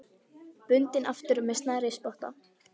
Bundinn aftur með snærisspotta.